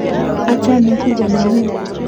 Achame kuko nenyun.